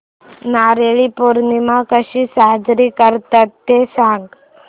नारळी पौर्णिमा कशी साजरी करतात ते सांग